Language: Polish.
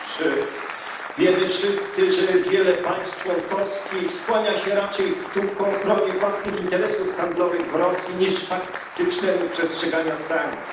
Otóż wiemy wszyscy, że wiele państw członkowskich skłania się raczej ku ochronie własnych interesów handlowych w Rosji niż ku faktycznemu przestrzeganiu sankcji.